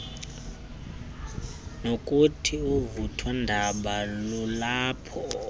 nokuthi uvuthondaba lulapha